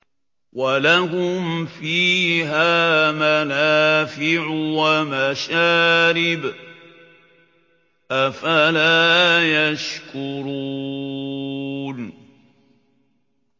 وَلَهُمْ فِيهَا مَنَافِعُ وَمَشَارِبُ ۖ أَفَلَا يَشْكُرُونَ